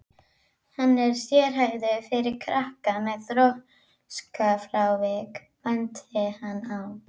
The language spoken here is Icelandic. Hann er sérhæfður fyrir krakka með þroskafrávik, benti hann á.